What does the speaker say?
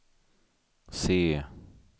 C